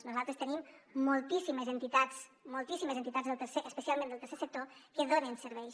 nosaltres tenim moltíssimes entitats moltíssimes entitats especialment del tercer sector que donen serveis